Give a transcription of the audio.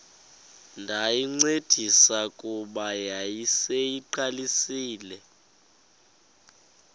ndayincedisa kuba yayiseyiqalisile